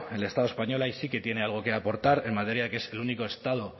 el estado español ahí sí que tiene algo que aportar en materia que es el único estado